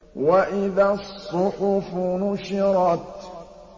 وَإِذَا الصُّحُفُ نُشِرَتْ